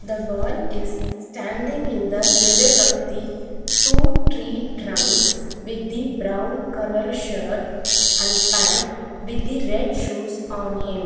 The boy is standing in the middle of the two tree trunks with the brown colour shirt and pant with the red shoes on him.